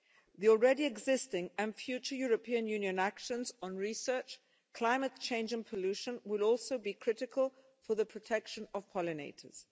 The already existing and future European Union actions on research, climate change and pollution will also be critical for the protection of pollinators.